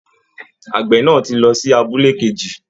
Àgbẹ̀ náà ti lọ sí abúlé kejì